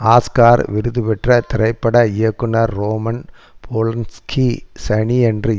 Oscar விருது பெற்ற திரைப்பட இயக்குனர் ரோமன் போலன்ஸ்கி சனியன்று